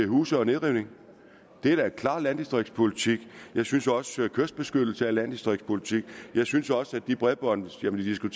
huse og nedrivning det er da en klar landdistriktspolitik jeg synes også at kystbeskyttelse er landdistriktspolitik jeg synes også at de bredbåndsforbindelser